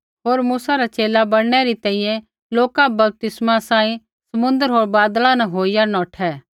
होर मूसा रा च़ेला बणनै री तैंईंयैं लोका बपतिस्मा सांही समुन्द्र होर बादला न होइया नौठै